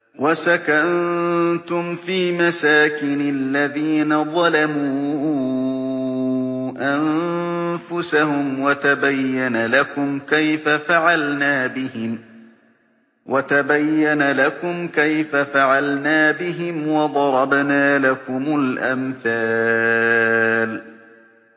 وَسَكَنتُمْ فِي مَسَاكِنِ الَّذِينَ ظَلَمُوا أَنفُسَهُمْ وَتَبَيَّنَ لَكُمْ كَيْفَ فَعَلْنَا بِهِمْ وَضَرَبْنَا لَكُمُ الْأَمْثَالَ